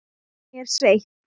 Hún er sveitt.